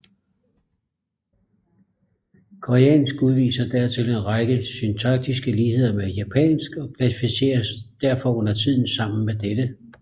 Koreansk udviser dertil en række syntaktiske ligheder med japansk og klassificeres derfor undertiden sammen med dette